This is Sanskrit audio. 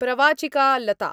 प्रवाचिका लता